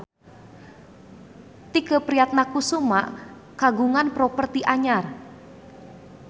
Tike Priatnakusuma kagungan properti anyar